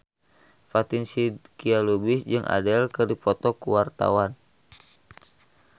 Fatin Shidqia Lubis jeung Adele keur dipoto ku wartawan